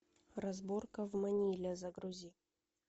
разборка в маниле загрузи